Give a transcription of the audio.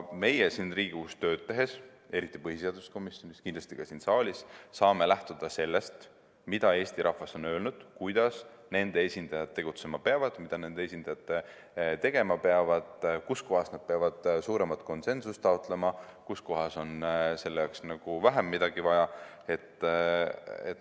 Meie siin Riigikogus tööd tehes, eriti põhiseaduskomisjonis, aga kindlasti ka siin saalis, saame lähtuda sellest, mida Eesti rahvas on öelnud, kuidas nende esindajad tegutsema peavad, mida nende esindajad tegema peavad, kus kohas nad peavad suuremat konsensust taotlema, kus kohas on selle jaoks midagi vähem vaja.